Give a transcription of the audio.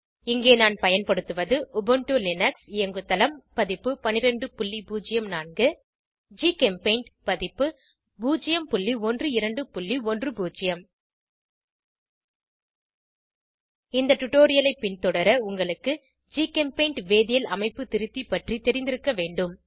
இங்கே நான் பயன்படுத்துவது உபுண்டு லினக்ஸ் இயங்குதளம் பதிப்பு 1204 ஜிகெம்பெய்ண்ட் பதிப்பு 01210 இந்த டுடோரியலை பின்தொடர உங்களுக்கு ஜிகெம்பெய்ண்ட் வேதியியல் அமைப்பு திருத்தி பற்றி தெரிந்திருக்க வேண்டும்